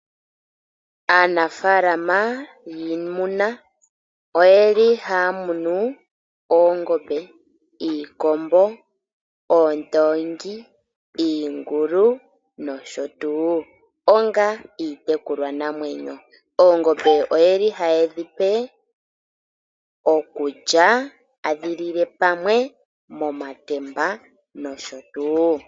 Aanafaalama yiimuna oye li haya munu oongombe, iikombo, oondoongi, iingulu, nosho tuu. Onga iitekulwa namwenyo, oongombe oye li haye dhi pe okulya, adhilile pamwe momatemba nosho tuu.